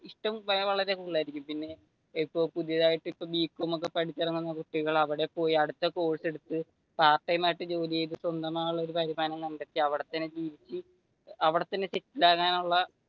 ഇഷ്ടം വളരെ കൂടുതലായിരിക്കും പിന്നെ ഇപ്പൊ പുതിയതായിട്ട് ബി കോം പഠിച്ചിറങ്ങുന്ന കുട്ടികൾ അവിടെ പോയി അടുത്ത കോഴ്സ് എടുത്തു പാർട്ട് ടൈം ജോലി ചെയ്തു സ്വന്തമായി ഉള്ളൊരു വരുമാനം കണ്ടെത്തി അവിടെ തന്നെ ജീവിച്ചു അവിടെ തന്നെ സെറ്റില് ആകാനുള്ള